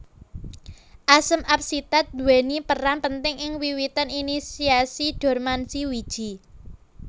Asam absisat duweni peran penting ing wiwitan inisiasi dormansi wiji